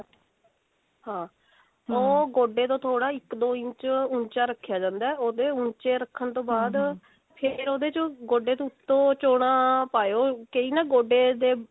ਹਾਂ ਉਹ ਗੋਡੇ ਤੋਂ ਥੋੜਾ ਇੱਕ ਦੋ ਇੰਚ ਊਂਚਾ ਰੱਖਿਆ ਜਾਂਦਾ ਉਹਦੇ ਊਂਚੇ ਰੱਖਨ ਤੋਂ ਬਾਅਦ ਫੇਰ ਉਹਦੇ ਚੋ ਗੋਡੇ ਦੇ ਉੱਤੋ ਚੋਣਾ ਪਾਏਓ ਕਈ ਨਾ ਗੋਡੇ ਦੇ